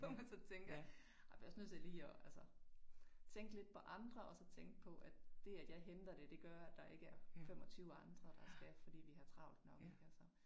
Hvor man så tænker ej bliver også lige nødt tillige at altså tænke lidt på andre og så tænke på at det at jeg henter det det gør at der ikke er 25 andre der skal for vi har jo travlt nok ik altså